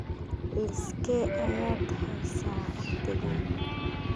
Liiskee ayaad haysaa wakhtigan?